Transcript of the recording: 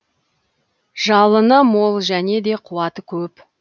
жалыны мол және де қуаты көп